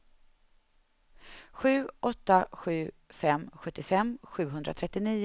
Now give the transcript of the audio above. sju åtta sju fem sjuttiofem sjuhundratrettionio